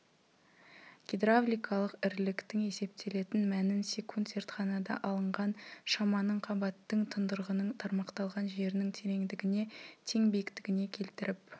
гидравликалық іріліктің есептелетін мәнін секунд зертханада алынған шаманың қабаттың тұндырғының тармақталған жерінің тереңдігіне тең биіктігіне келтіріп